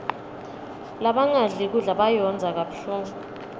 labangadli kudla bayondza kabuhlungu